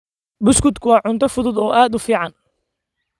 Buskutku waa cunto fudud oo aad u fiican.